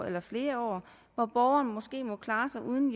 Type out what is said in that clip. eller flere år hvor borgeren må klare sig uden